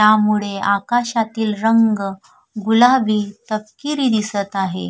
ह्या मुळे आकाशातील रंग गुलाबी तपकिरी दिसत आहे.